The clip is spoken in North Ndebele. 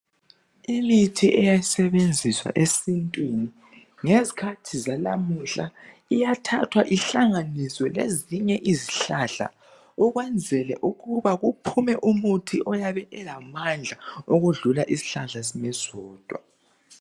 imithi eyayisebenziswa esintwini ngezikhathi zalamuhla iyathathwa ihlanganiswe lezinye izihlahla ukwenzela ukuba kuphume umuthi oyabe ulamandla okudlula isihlahla sime sodwa